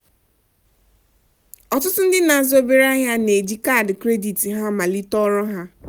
Ọtụtụ ndị n'azụ obere ahịa na-eji káádị-krédị̀t. Ihe amaliteghị ọrụ ahụ.